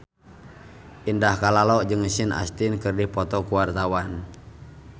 Indah Kalalo jeung Sean Astin keur dipoto ku wartawan